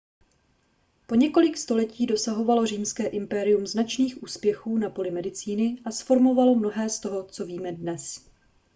po několik století dosahovalo římské impérium značných úspěchů na poli medicíny a zformovalo mnohé z toho co víme dnes